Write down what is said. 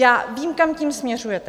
Já vím, kam tím směřujete.